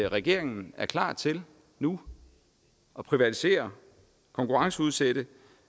regeringen er klar til nu at privatisere konkurrenceudsætte